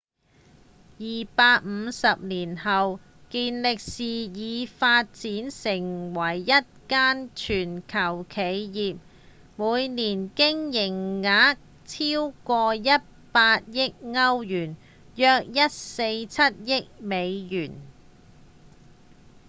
250年後健力士已發展為一間全球企業每年營業額超過100億歐元約147億美元